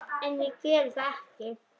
En geri það ekki.